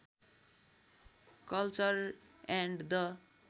culture and the